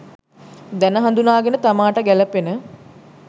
දැන හඳුනාගෙන, තමාට ගැලපෙන